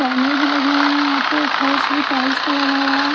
कैमरे भी लगे हुए हैं यहां पे फर्श भी टाइल्स का लगा हुआ है।